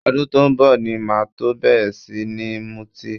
Ọdún tó ń bọ̀ ni máa tó bẹ̀rẹ̀ sí ní mutí